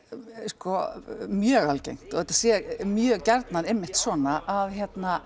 mjög algengt og að þetta sé mjög gjarnan einmitt svona að hérna